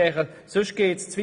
Ansonsten führt es zu weit.